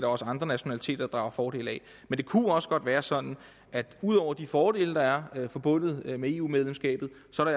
også andre nationaliteter der drager fordel af men det kunne jo også godt være sådan at der ud over de fordele der er forbundet med eu medlemskabet